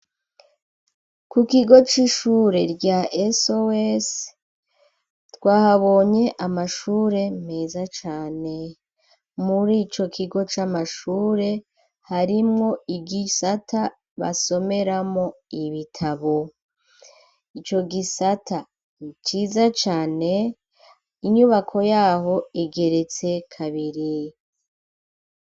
Ku kigo c'ishure rya "SOS", twahabonye amashure meza cane; muri ico kigo c'amashure, harimwo igisata basomeramo ibitabo, ico gisata ni ciza cane, inyubako y'aho igeretse kabiri.